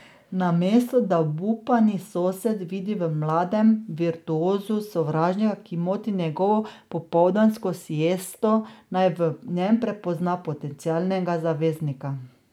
Namesto da obupani sosed vidi v mladem virtuozu sovražnika, ki moti njegovo popoldansko siesto, naj v njem prepozna potencialnega zaveznika.